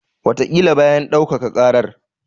Wataƙila bayan ɗaukaka ƙarar.